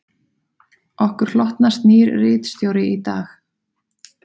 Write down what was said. Okkur hlotnast nýr ritstjóri í dag